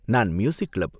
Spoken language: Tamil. நான் மியூசிக் கிளப்.